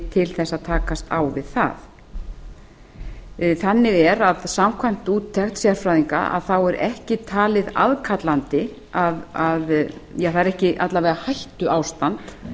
til að takast á við það þannig er að samkvæmt úttekt sérfræðinga er ekki talið að aðkallandi eða það er alla vega ekki hættuástand